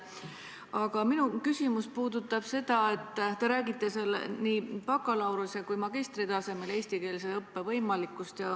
Aga minu küsimus puudutab seda, et te räägite nii bakalaureuse kui ka magistri tasemel eestikeelse õppe võimalikkusest.